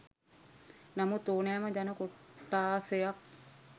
නමුත් ඕනෑම ජන කොට්ඨාසයක්